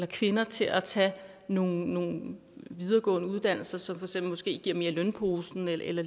kvinder til at tage nogle nogle videregående uddannelser som måske giver lidt mere i lønposen eller